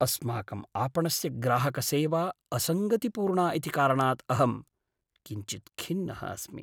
अस्माकम् आपणस्य ग्राहकसेवा असङ्गतिपूर्णा इति कारणात् अहं किञ्चित् खिन्नः अस्मि।